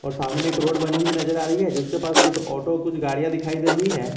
और सामने में एक रोड बनी हुई नजर आ रही है जिसके पास कुछ ऑटो कुछ गाड़िया दिखायी दे रही है।